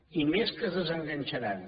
i més que es desenganxaran